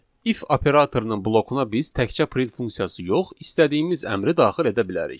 İf operatorunun blokuna biz təkcə print funksiyası yox, istədiyimiz əmri daxil edə bilərik.